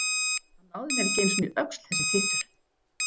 Hann náði mér ekki einu sinni í öxl þessi tittur.